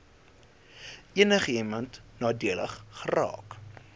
enigiemand nadelig geraak